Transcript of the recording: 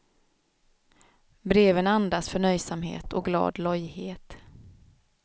Breven andas förnöjsamhet och glad lojhet.